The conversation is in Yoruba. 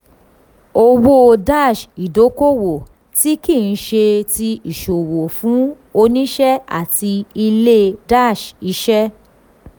owó-ìdókòwò tí kì í ṣe ti ìsòwò fún òṣìṣẹ́ àti ilé-iṣẹ́.